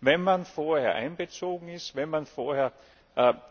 Wenn man vorher einbezogen ist, wenn man vorher